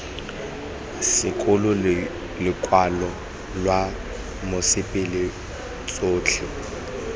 sekolo lokwalo lwa mosepele tsotlhe